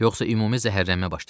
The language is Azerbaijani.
Yoxsa ümumi zəhərlənmə başlayacaq.